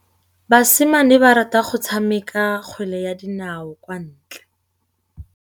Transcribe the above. Basimane ba rata go tshameka kgwele ya dinaô kwa ntle.